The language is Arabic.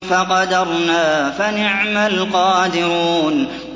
فَقَدَرْنَا فَنِعْمَ الْقَادِرُونَ